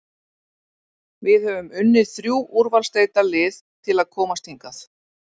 Við höfum unnið þrjú úrvalsdeildarlið til að komast hingað.